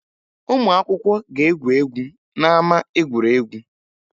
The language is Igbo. Ụmụ akwụkwọ ga-egwu egwu n'ama egwuregwu